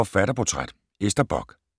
Forfatterportræt: Ester Bock